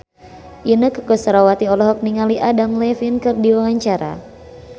Inneke Koesherawati olohok ningali Adam Levine keur diwawancara